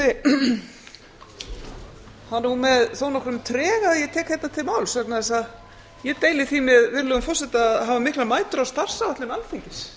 er nú með þó nokkrum trega að ég tek hérna til máls vegna þess að ég deili því með virðulegum forseta að hafa miklar mætur á starfsáætlun alþingis